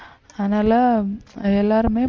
அதனால எல்லாருமே